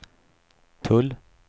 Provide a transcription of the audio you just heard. tull